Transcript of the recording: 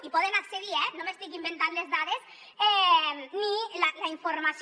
hi poden accedir eh no m’estic inventant les dades ni la informació